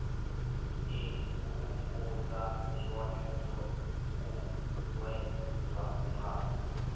imvumvusa zwone zwo uuwedzwa nga